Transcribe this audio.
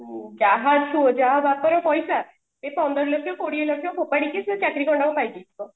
ଯାହା ଯାହା ହାତରେ ପଇସା ସେ ପନ୍ଦର ଲକ୍ଷ୍ୟ କୋଡିଏ ଲକ୍ଷ୍ୟ ଫୋପାଡିକି ସେ ଚାକିରି ଖଣ୍ଡକ ପାଇଛି